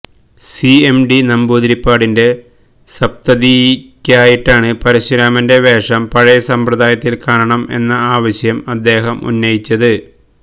CMD നമ്പൂതിരിപ്പാടിന്റെ സപ്തതിയ്ക്കായിട്ടാണ് പരശുരാമന്റെ വേഷം പഴയ സമ്പ്രദായത്തില് കാണണം എന്ന ആവശ്യം അദ്ദേഹം ഉന്നയിച്ചത്